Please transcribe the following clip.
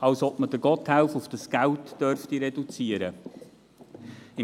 Als ob man Gotthelf auf das Geld reduzieren dürfte.